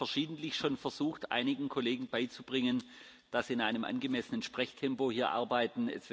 Ich habe schon verschiedentlich versucht, einigen Kollegen beizubringen, dass sie in einem angemessenen Sprechtempo hier arbeiten.